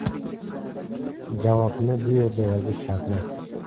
Javobni bu yerda yozish shartmas.